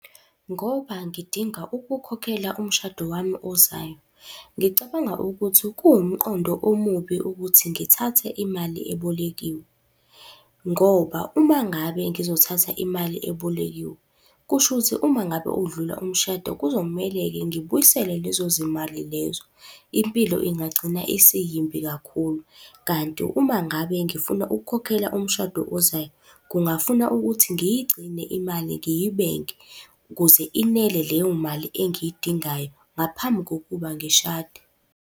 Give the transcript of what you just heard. Ngoba ngidinga ukukhokhela umshado wami ozayo, ngicabanga ukuthi kuwumqondo omubi ukuthi ngithathe imali ebolekiwe, ngoba uma ngabe ngizothatha imali ebolekiwe, kushuthi uma ngabe udlula umshado kuzomele-ke ngibuyisele lezo zimali lezo. Impilo ingagcina isiyimbi kakhulu. Kanti uma ngabe ngifuna ukukhokhela umshado ozayo, kungafuna ukuthi ngiyigcine imali ngiyibeke ukuze inele leyo mali engiyidingayo, ngaphambi kokuba ngishade.